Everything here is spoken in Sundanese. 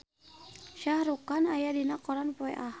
Shah Rukh Khan aya dina koran poe Ahad